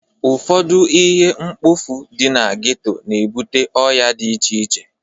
Ụfọdụ ihe mkpofu dị na geto na-ebute ọya dị iche iche.